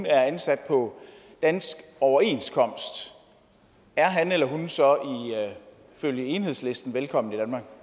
er ansat på dansk overenskomst er han eller hun så ifølge enhedslisten velkommen